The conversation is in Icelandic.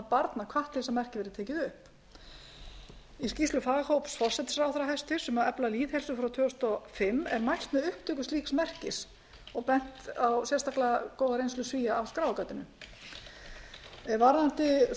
barna hvatt til að þetta merki verði tekið upp í skýrslu faghóps hæstvirtur forsætisráðherra um að efla lýðheilsu frá tvö þúsund og fimm er mælt með upptöku slíks merkis og bent á sérstaklega góða reynslu svía að skráargatinu varðandi